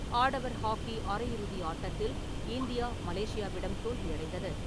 ஆடவர் ஹாக்கி அரையிறுதி ஆட்டத்தில் இந்தியா, மலேசியாவிடம் தோல்வியடைந்தது.